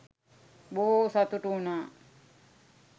බොහෝ සතුටු වුනා.